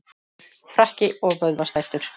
Frakki og vöðvastæltur.